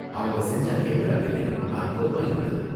அவங்க செஞ்ச கேமரா வேலையும் அற்புதமா இருந்தது.